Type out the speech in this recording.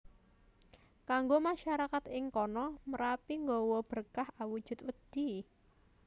Kanggo masyarakat ing kono Merapi nggawa berkah awujud wedhi